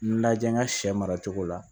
Lajɛ n ka sɛ maracogo la